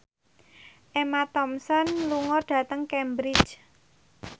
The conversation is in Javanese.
Emma Thompson lunga dhateng Cambridge